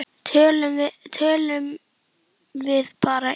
Tölum við bara illa um það?